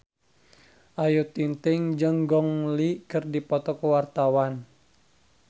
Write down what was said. Ayu Ting-ting jeung Gong Li keur dipoto ku wartawan